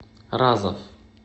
разов